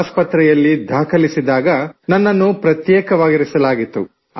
ಆಸ್ಪತ್ರೆಯಲ್ಲಿ ದಾಖಲಿಸಿದಾಗ ನನ್ನನ್ನು ಪ್ರತ್ಯೇಕವಾಗಿರಿಸಲಾಗಿತ್ತು